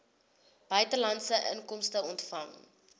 buitelandse inkomste ontvang